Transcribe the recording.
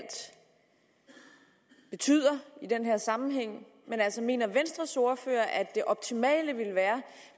betyder i den her sammenhæng men altså mener venstres ordfører at det optimale ville være